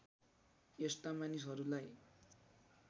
यस्ता मानिसहरूलाई